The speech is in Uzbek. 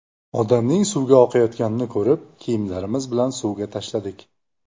Odamning suvga oqayotganini ko‘rib, kiyimlarimiz bilan suvga tashladik.